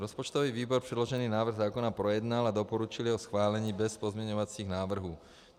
Rozpočtový výbor předložený návrh zákona projednal a doporučil jeho schválení bez pozměňovacích návrhů.